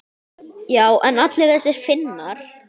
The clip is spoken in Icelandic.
Já en allir þessir Finnar.